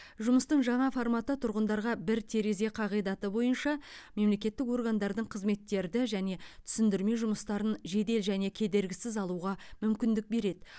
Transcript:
жұмыстың жаңа форматы тұрғындарға бір терезе қағидаты бойынша мемлекеттік органдардың қызметтерді және түсіндірме жұмыстарын жедел және кедергісіз алуға мүмкіндік береді